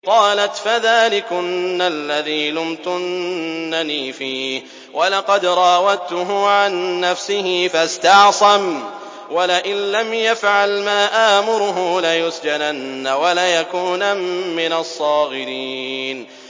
قَالَتْ فَذَٰلِكُنَّ الَّذِي لُمْتُنَّنِي فِيهِ ۖ وَلَقَدْ رَاوَدتُّهُ عَن نَّفْسِهِ فَاسْتَعْصَمَ ۖ وَلَئِن لَّمْ يَفْعَلْ مَا آمُرُهُ لَيُسْجَنَنَّ وَلَيَكُونًا مِّنَ الصَّاغِرِينَ